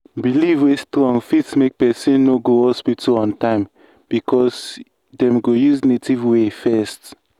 belief wey strong fit make person no go hospital on time because dem go use native way first.